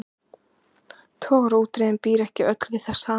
Togaraútgerðin býr ekki öll við það sama.